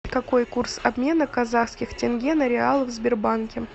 какой курс обмена казахских тенге на реалы в сбербанке